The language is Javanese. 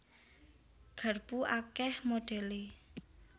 Garpu akèh modhèlé